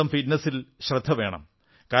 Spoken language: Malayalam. സ്വന്തം ഫിറ്റ്നസിൽ ശ്രദ്ധ വേണം